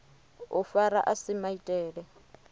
u fara a si maitele